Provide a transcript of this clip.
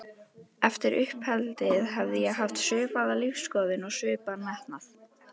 Eftir uppeldið hefði ég haft svipaða lífsskoðun og svipaðan metnað.